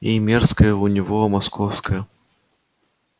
и мерзкое у него московская